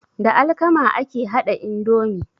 Da alkama ake haɗa indomi.